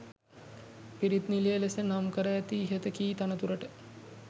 පිරිත් නිලය ලෙස නම් කර ඇති ඉහත කී තනතුරට